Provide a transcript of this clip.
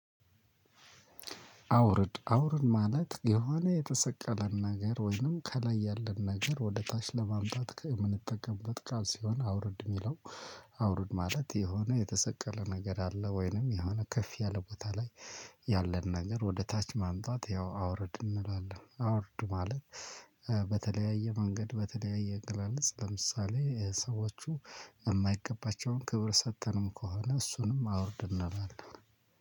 አውርድ አውርድ ማለት የሆነ የተሰቀለን ነገር ወይንም ከላይ ያለን ነገር ወደ ታች ለማምጣት ከምንጠቀምበት ቃል ሲሆን አውርድ የሚለው። አውርድ ማለት የሆነ የተሰቀለ ነገር አለ ወይንም የሆነ ከፍ ያለ ቦታ ላይ ያለን ነገርወደታች ማምጣት አውርድ እንለዋለን። በተለያየ መንገድ በተለያየ አገላለጽ ለምሳሌ ሰዎቹ እማይገባቸውን ክብር ሰጥተንም ከሆነ እሱንም አወርድ እንላለን።